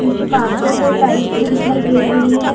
नीचे कारपेट और टाइल्स भी दिखाई दे रही हैं ।